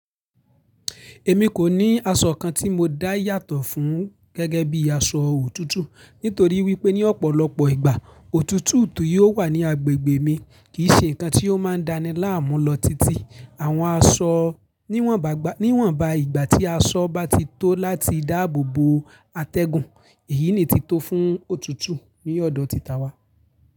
Èmi kò ní aṣọ kan tí mo dá yàtọ̀ fún gẹ́gẹ́ bí i aṣọ òtútù, nítorí wípé ní ọ̀pọ̀lọpọ̀ ìgbà, òtútù ti yio wà ní agbègbè mi kì í ṣe ǹkan tí ó máa ń dáni láàmú lọ títí àwọn aṣọ níwọ̀nba ìgbà tí aṣọ bá ti tó láti dáàbò bo àtẹ́gùn, èyí ni ti tó fún òtútù ní ọ̀dọ̀ ti ta wá.